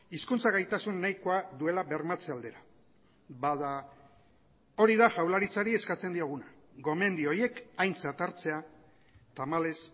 hizkuntza gaitasun nahikoa duela bermatze aldera bada hori da jaurlaritzari eskatzen dioguna gomendio horiek aintzat hartzea tamalez